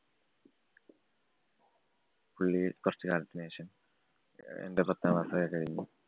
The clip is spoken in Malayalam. പുള്ളി കൊറച്ച് കാലത്തിനു ശേഷം എന്‍റെ പത്താം class ഒക്കെ കഴിഞ്ഞ്